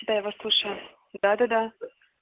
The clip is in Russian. да я вас слушаю да-да-да